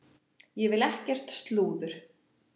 Ég vil ekkert slúður.